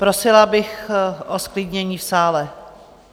Prosila bych o zklidnění v sále.